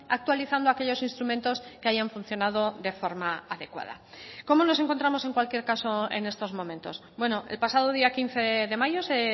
actualizando aquellos instrumentos que hayan funcionado de forma adecuada cómo nos encontramos en cualquier caso en estos momentos bueno el pasado día quince de mayo se